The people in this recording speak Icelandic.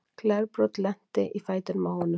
Glerbrot lenti í fætinum á honum.